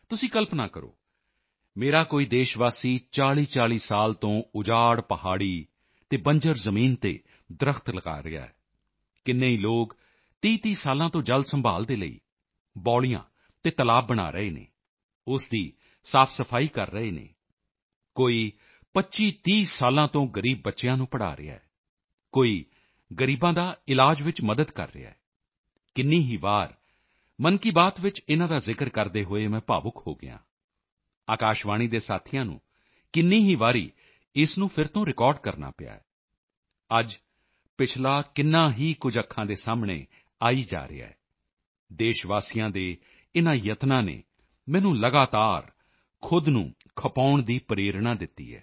ਤੁਸੀਂ ਕਲਪਨਾ ਕਰੋ ਮੇਰਾ ਕੋਈ ਦੇਸ਼ਵਾਸੀ 4040 ਸਾਲ ਤੋਂ ਉਜਾੜ ਪਹਾੜੀ ਅਤੇ ਬੰਜਰ ਜ਼ਮੀਨ ਤੇ ਦਰੱਖ਼ਤ ਲਗਾ ਰਿਹਾ ਹੈ ਕਿੰਨੇ ਹੀ ਲੋਕ 3030 ਸਾਲਾਂ ਤੋਂ ਜਲ ਸੰਭਾਲ਼ ਦੇ ਲਈ ਬਾਓਲੀਆਂ ਅਤੇ ਤਲਾਬ ਬਣਾ ਰਹੇ ਹਨ ਉਸ ਦੀ ਸਾਫਸਫਾਈ ਕਰ ਰਹੇ ਹਨ ਕੋਈ 2530 ਸਾਲਾਂ ਤੋਂ ਗਰੀਬ ਬੱਚਿਆਂ ਨੂੰ ਪੜ੍ਹਾਅ ਰਿਹਾ ਹੈ ਕੋਈ ਗ਼ਰੀਬਾਂ ਦੀ ਇਲਾਜ ਵਿੱਚ ਮਦਦ ਕਰ ਰਿਹਾ ਹੈ ਕਿੰਨੀ ਹੀ ਵਾਰ ਮਨ ਕੀ ਬਾਤ ਵਿੱਚ ਇਨ੍ਹਾਂ ਦਾ ਜ਼ਿਕਰ ਕਰਦੇ ਹੋਏ ਮੈਂ ਭਾਵੁਕ ਹੋ ਗਿਆ ਹਾਂ ਆਕਾਸ਼ਵਾਣੀ ਦੇ ਸਾਥੀਆਂ ਨੂੰ ਕਿੰਨੀ ਹੀ ਵਾਰੀ ਇਸ ਨੂੰ ਫਿਰ ਤੋਂ ਰਿਕਾਰਡ ਕਰਨਾ ਪਿਆ ਹੈ ਅੱਜ ਪਿਛਲਾ ਕਿੰਨਾ ਹੀ ਕੁਝ ਅੱਖਾਂ ਦੇ ਸਾਹਮਣੇ ਆਈ ਜਾ ਰਿਹਾ ਹੈ ਦੇਸ਼ਵਾਸੀਆਂ ਦੇ ਇਨ੍ਹਾਂ ਯਤਨਾਂ ਨੇ ਮੈਨੂੰ ਲਗਾਤਾਰ ਖੁਦ ਨੂੰ ਖਪਾਉਣ ਦੀ ਪ੍ਰੇਰਣਾ ਦਿੱਤੀ ਹੈ